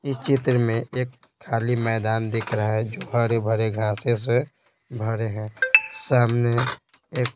इस चित्र में एक खाली मैदान दिख रहा है जो भरे भरे घास से भरे हैं सामने एक .